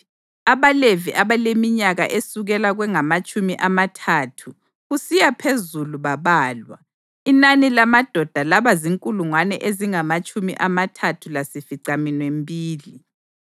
AbaLevi abaleminyaka esukela kwengamatshumi amathathu kusiya phezulu babalwa, inani lamadoda laba zinkulungwane ezingamatshumi amathathu lasificaminwembili.